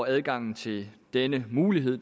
adgangen til denne mulighed